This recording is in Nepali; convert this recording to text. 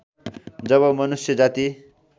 जब मनुष्य जाति